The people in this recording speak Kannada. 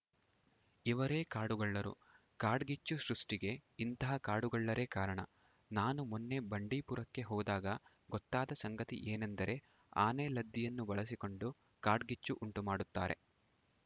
ಇವರೇ ಕಾಡುಗಳ್ಳರು ಕಾಡ್ಗಿಚ್ಚು ಸೃಷ್ಟಿಗೆ ಇಂಥ ಕಾಡುಗಳ್ಳರೇ ಕಾರಣ ನಾನು ಮೊನ್ನೆ ಬಂಡೀಪುರಕ್ಕೆ ಹೋದಾಗ ಗೊತ್ತಾದ ಸಂಗತಿ ಏನೆಂದರೆ ಆನೆಲದ್ದಿಯನ್ನು ಬಳಸಿಕೊಂಡು ಕಾಡ್ಗಿಚ್ಚು ಉಂಟುಮಾಡುತ್ತಾರೆ